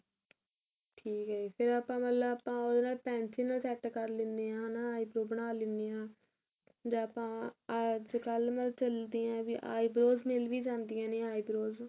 ਠੀਕ ਏ ਫੇਰ ਆਪਾਂ ਮਤਲਬ ਆਪਾਂ ਮਤਲਬ ਉਹਦੇ ਨਾਲ pencil ਨਾਲ set ਕਰ ਲੈਣੇ ਆ ਹਨਾ eyebrow ਬਣਾ ਲੈਣੇ ਆ ਜਾਂ ਆਪਾਂ ਅੱਜਕਲ ਮਤਲਬ ਚਲਦੇ ਆ ਵੀ eyebrows ਮਿਲ ਵੀ ਜਾਂਦੀਆ ਨੇ eyebrows